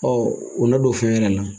O na don fɛn wɛrɛ la.